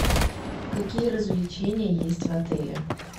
какие развлечения есть в отеле